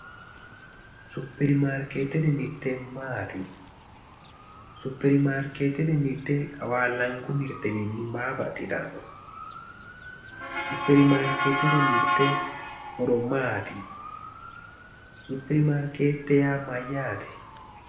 Supermaarkeetete mirte yaa maati suupermarkeetete mirte qawaallanku mirtewiinni maa baxxitanno supermaarkeetete horo maati supermaarkeete yaa mayyaate